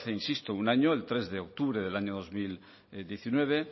insisto un año el tres de octubre del año dos mil diecinueve